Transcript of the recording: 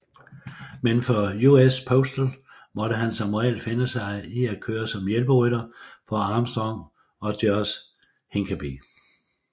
Men for US Postal måtte han som regel finde sig i at køre som hjælperytter for Armstrong og George Hincapie